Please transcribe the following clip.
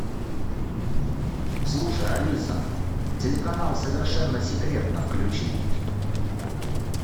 слушай алиса телеканал совершенно секретно включи